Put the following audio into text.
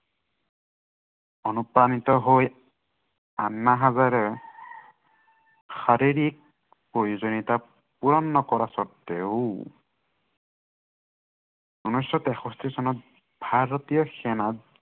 অনুপ্ৰাণিত হৈ আন্না হাজাৰে শাৰীৰিক, প্ৰয়োজনীয়তাক পূৰণ নকৰা স্বত্বেও ঊনৈছ শ তেষষ্ঠি চনত, ভাৰতীয় সেনাত